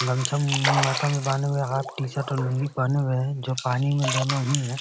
गमछा मु माथा में बाने हुए हाफ टी-शर्ट और लुंगी पहने हुए है जो पानी में दोनों ही हैं।